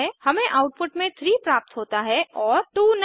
हमें आउटपुट में 3 प्राप्त होता है और 2 नहीं